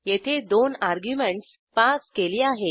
येथे दोन arguments pass केली आहेत